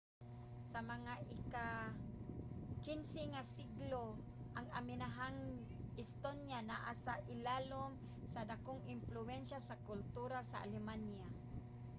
sa mga ika-15 nga siglo ang amihanang estonia naa sa ilalum sa dakong impluwensya sa kultura sa alemanya